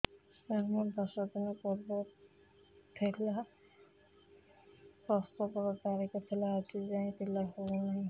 ସାର ମୋର ଦଶ ଦିନ ପୂର୍ବ ପିଲା ପ୍ରସଵ ର ତାରିଖ ଥିଲା ଆଜି ଯାଇଁ ପିଲା ହଉ ନାହିଁ